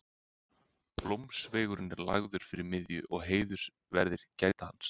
Blómsveigurinn er lagður fyrir miðju og heiðursverðir gæta hans.